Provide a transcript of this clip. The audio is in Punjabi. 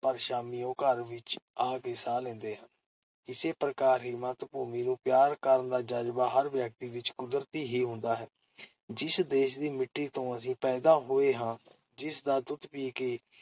ਪਰ ਸ਼ਾਮੀਂ ਉਹ ਘਰ ਵਿਚ ਆ ਕੇ ਸਾਹ ਲੈਂਦੇ ਹਨ । ਇਸੇ ਪ੍ਰਕਾਰ ਹੀ ਮਾਤ-ਭੂਮੀ ਨੂੰ ਪਿਆਰ ਕਰਨ ਦਾ ਜਜ਼ਬਾ ਹਰ ਵਿਅਕਤੀ ਵਿਚ ਕੁਦਰਤੀ ਹੀ ਹੁੰਦਾ ਹੈ । ਜਿਸ ਦੇਸ਼ ਦੀ ਮਿੱਟੀ ਤੋਂ ਅਸੀਂ ਪੈਦਾ ਹੋਏ ਹਾਂ, ਜਿਸ ਦਾ ਦੁੱਧ ਪੀ-ਪੀ ਕੇ